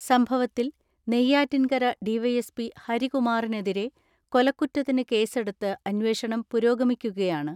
സംഭവത്തിൽ Neyyattinkara D Y S P ഹരികുമാറിനെതിരെ കൊലക്കുറ്റത്തിന് കേസെടുത്ത് അന്വേഷണം പുരോഗ മിക്കുകയാണ്.